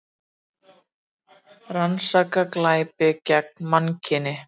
Rannsaka glæpi gegn mannkyni